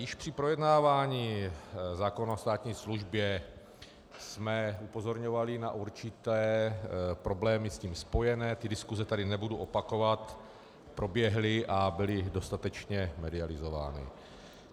Již při projednávání zákona o státní službě jsme upozorňovali na určité problémy s tím spojené, ty diskuse tady nebudu opakovat, proběhly a byly dostatečně medializovány.